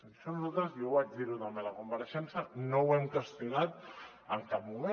això nosaltres i ho vaig dir també a la compareixença no ho hem qüestionat en cap moment